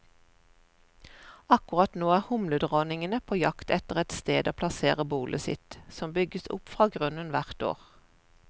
Akkurat nå er humledronningene på jakt etter et sted å plassere bolet sitt, som bygges opp fra grunnen hvert år.